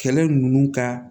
Kɛlɛ ninnu ka